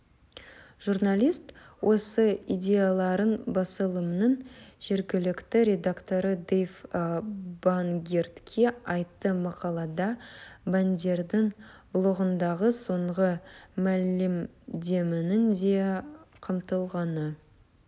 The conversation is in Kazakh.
журналист осы идеяларын басылымының жергілікті редакторы дейв бангертке айтты мақалада бандердің блогындағы соңғы мәлімдеменің де қамтылғаны